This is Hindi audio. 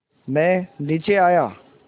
मैं नीचे आया